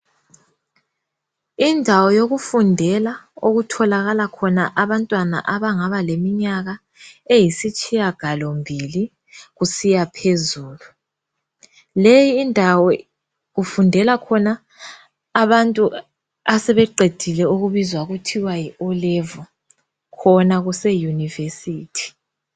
Indawo yokufundela okuthokala khona abantwana abangaba leminyaka eyisitshiya galombili kusiya phezulu, leyi indawo kufundela khona abantu asebeqedile okubizwa kuthiwa yi o'level khona kuse yunivesithi.